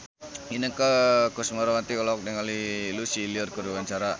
Inneke Koesherawati olohok ningali Lucy Liu keur diwawancara